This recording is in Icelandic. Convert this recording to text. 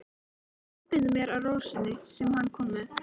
Ég einbeiti mér að rósinni sem hann kom með.